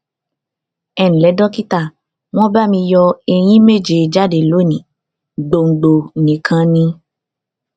nle dókítà won ba mi yo eyín méje jáde lónìí gbòǹgbò nìkan ni